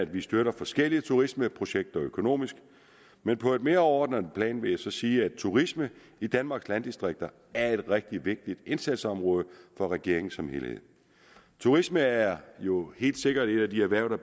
vi støtter forskellige turismeprojekter økonomisk men på et mere overordnet plan vil jeg sige at turisme i danmarks landdistrikter er et rigtig vigtigt indsatsområde for regeringen som helhed turisme er jo helt sikkert et af de erhverv der